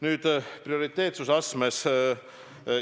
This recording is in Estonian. Nüüd prioriteetsuse astmest.